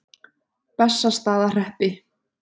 Bessastaðahreppi